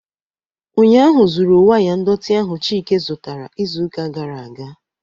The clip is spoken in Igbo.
Ụnyahụ zuru waya ndọtị ahụ Chike zụtara izuụka gara aga